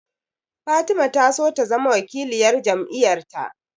Fatima ta so ta zama wakiliyar jam'iyar ta